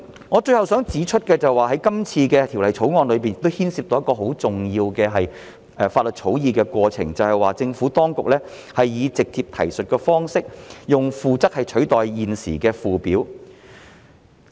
我最後想指出的是，《條例草案》亦牽涉到一個很重要的法律草擬過程，就是政府當局以直接提述的方式，用附則取代現時的附表。